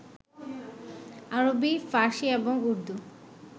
আরবী, ফার্সী এবং উর্দু